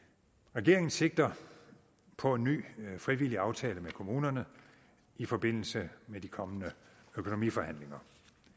regeringen sigter på en ny frivillig aftale med kommunerne i forbindelse med de kommende økonomiforhandlinger